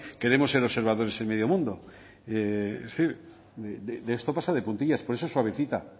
queremos ser observadores en medio mundo es decir de esto pasa de puntillas por eso suavecita